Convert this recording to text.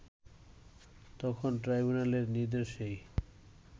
তখন ট্রাইবুনালের নির্দেশেই